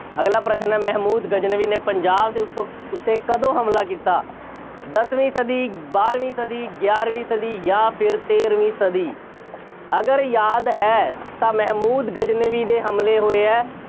ਅਗਲਾ ਪ੍ਰਸ਼ਨ ਹੈ, ਮਹਿਮੂਦ ਗਜ਼ਨਵੀ ਨੇ ਪੰਜਾਬ ਦੇ ਉੱਤੋਂ ਉੱਤੇ ਕਦੋਂ ਹਮਲਾ ਕੀਤਾ? ਦਸਵੀਂ ਸਦੀ, ਬਾਰਵੀਂ ਸਦੀ, ਗਿਆਰਵੀਂ ਸਦੀ ਜਾਂ ਫੇਰ ਤੇਰਵੀਂ ਸਦੀ ਅਗਰ ਯਾਦ ਹੈ ਤਾਂ ਮਹਿਮੂਦ ਗਜ਼ਨਵੀ ਦੇ ਹਮਲੇ ਹੋਏ ਹੈ।